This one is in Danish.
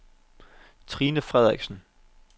Trine Frederiksen